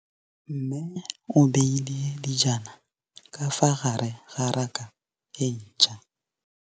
Mmê o beile dijana ka fa gare ga raka e ntšha.